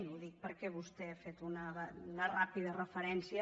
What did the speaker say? ho dic perquè vostè hi ha fet una ràpida referència